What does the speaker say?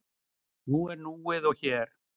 Nú er núið og hér.